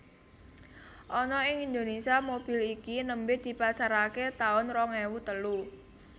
Ana ing Indonésia mobil iki nembe dipasarake taun rong ewu telu